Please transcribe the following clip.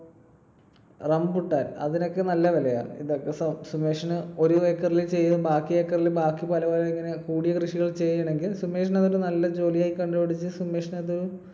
Rambutan അതിനൊക്കെ നല്ല വിലയാ. ഇതൊക്കെ സു~സുമേഷിന് ഒരു acre ൽ ചെയ്ത് ബാക്കി acre ൽ ബാക്കി പല പല കൂടിയ കൃഷികൾ ചെയ്യാണെങ്കിൽ സുമേഷിന് അതൊരു നല്ല ജോലിയായി കണ്ടുപിടിച്ച് സുമേഷിന് അത്